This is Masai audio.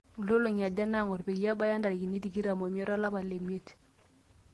nkolong'i aja nangor peyie ebaya ntarikini tikitam o imiet olapa le imiet